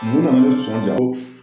Mun nana ne sɔnna ja